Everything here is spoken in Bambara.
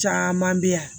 Caman bɛ yan